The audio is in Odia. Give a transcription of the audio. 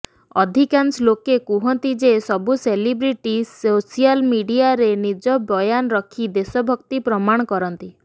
ଅଧିକାଂଶ ଲୋକେ କୁହନ୍ତି ଯେ ସବୁ ସେଲିବ୍ରିଟି ସୋସିଆଲ ମିଡିଆରେ ନିଜ ବୟାନ ରଖି ଦେଶଭକ୍ତି ପ୍ରମାଣ କରନ୍ତି